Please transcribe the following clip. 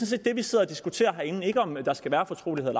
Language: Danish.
set det vi sidder og diskuterer herinde ikke om der skal være fortrolighed